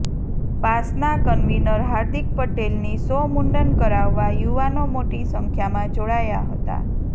પાસના convener Hardik પટેલની સો મુંડન કરાવવા યુવાનો મોટી સંખ્યામાં જોડાયા હતા